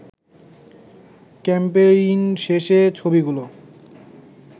campaign শেষে ছবিগুলো